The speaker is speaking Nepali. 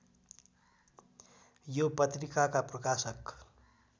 यो पत्रिकाका प्रकाशक